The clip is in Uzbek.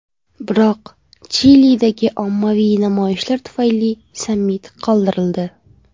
Biroq Chilidagi ommaviy namoyishlar tufayli sammit qoldirildi.